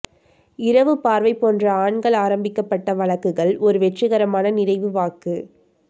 இரவு பார்வை போன்ற ஆண்கள் ஆரம்பிக்கப்பட்ட வழக்குகள் ஒரு வெற்றிகரமான நிறைவு வாக்குக்